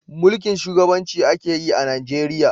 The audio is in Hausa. Mulkin shugabanci a ke yi a Najeriya